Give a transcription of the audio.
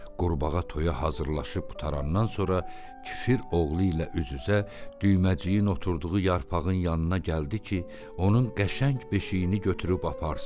Qurbağa toya hazırlaşıb qurtarandan sonra kəfir oğlu ilə üz-üzə düyməciyin oturduğu yarpağın yanına gəldi ki, onun qəşəng beşiyini götürüb aparsın.